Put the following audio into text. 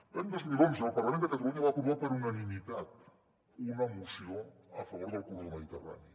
l’any dos mil onze el parlament de catalunya va aprovar per unanimitat una moció a favor del corredor mediterrani